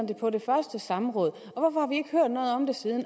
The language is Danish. det på det første samråd